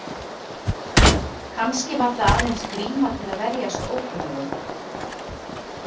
Kannski var það aðeins gríma til að verjast ókunnugum?